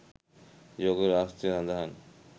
යෝග ශාස්ත්‍රයේ සඳහන්.